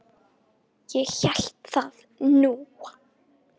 Ég hélt það nú!